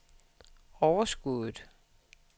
overskuddet